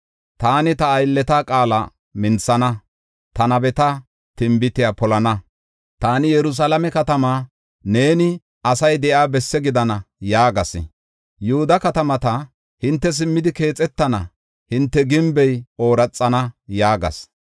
Taani ta aylleta qaala minthana; ta nabeta tinbitiya polana. Taani Yerusalaame katamaa, ‘Neeni asay de7iya bessi gidana’ yaagas; Yihuda katamata, ‘Hinte simmidi keexetana; hinte gimbey ooraxana’ yaagas.